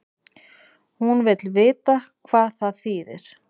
Hún vill vita hvað það þýðir.